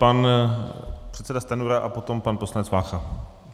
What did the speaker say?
Pan předseda Stanjura a potom pan poslanec Vácha.